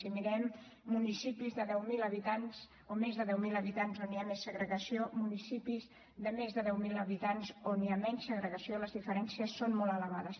si mirem municipis de més de deu mil habitants on hi ha més segregació i municipis de més de deu mil habitants on hi ha menys segregació les diferències són molt elevades